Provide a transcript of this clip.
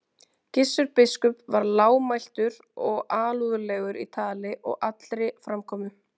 Gissur biskup var lágmæltur og alúðlegur í tali og allri framkomu.